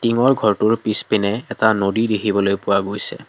টিঙৰ ঘৰটোৰ পিছপিনে এটা নদী দেখিবলৈ পোৱা গৈছে।